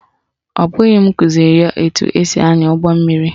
Ọ bụghị m kụziri ya etu esi ányà ụgbọmmiri